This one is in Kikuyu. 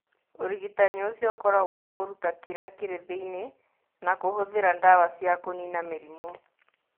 Ũrigitani ũcio ũkoragũo wa kũruta kĩrĩa kĩrĩ thĩinĩ na kũhũthĩra ndawa cia kũniina mĩrimũ.